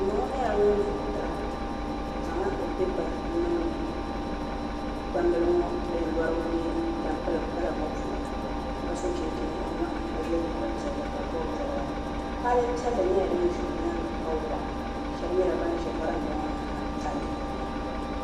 M ma ŋɔ nyɛla ŋun vootira o zaŋla pipa n-niŋdi gbambila din yɔrigu nyɛ zaɣ' tabilim kala ŋɔ puuni ka so chinchini o nyɔɣu ni ka ye liiga piɛlli ka bɔbi bɔbiga kpaale piɛlli nyɛla din za o nyaaŋa ka waɣa shɛba nyɛla ban ʒi varanda ŋɔ ni ha ka lihiri ba na